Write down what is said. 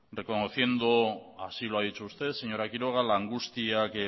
reconociendo así lo ha dicho usted señora quiroga la angustia que